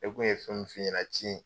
Ne tun ye fɛn min f'i ɲɛna ci in.